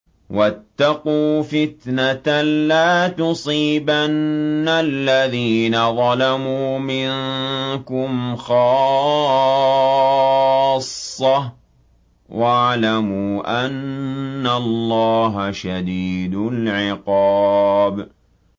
وَاتَّقُوا فِتْنَةً لَّا تُصِيبَنَّ الَّذِينَ ظَلَمُوا مِنكُمْ خَاصَّةً ۖ وَاعْلَمُوا أَنَّ اللَّهَ شَدِيدُ الْعِقَابِ